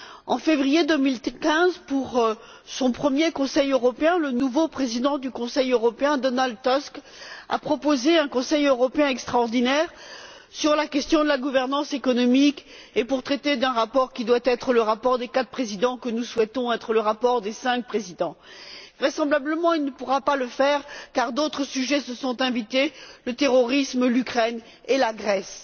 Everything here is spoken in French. En février 2015, pour son premier conseil européen, le nouveau président du Conseil européen, Donald Tusk, a également proposé un conseil européen extraordinaire sur la question de la gouvernance économique et sur un rapport qui doit être celui des quatre présidents, mais que nous souhaitons voir devenir le rapport des cinq présidents. Vraisemblablement, il ne pourra pas le faire, car d'autres sujets se sont invités à l'ordre du jour le terrorisme, l'Ukraine et la Grèce.